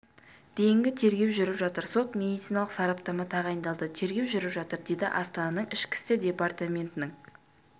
дейінгі тергеу жүріп жатыр сот-медициналық сараптама тағайындалды тергеу жүріп жатыр деді астананың ішкі істер департаментінің